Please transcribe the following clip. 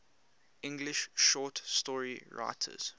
english short story writers